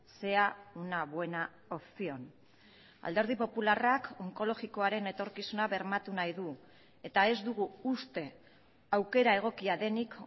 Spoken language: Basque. sea una buena opción alderdi popularrak onkologikoaren etorkizuna bermatu nahi du eta ez dugu uste aukera egokia denik